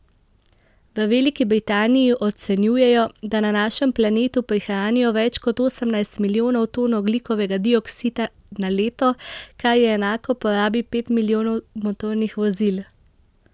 V Veliki Britaniji ocenjujejo, da na našem planetu prihranijo več kot osemnajst milijonov ton ogljikovega dioksida na leto, kar je enako porabi pet milijonov motornih vozil.